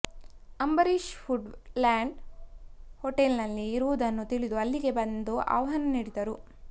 Ambareesh Woodland ಹೋಟೆಲ್ನಲ್ಲಿ ಇರುವುದುನ್ನು ತಿಳಿದು ಅಲ್ಲಿಗೆ ಬಂದು ಆಹ್ವಾನ ನೀಡಿದ್ದರು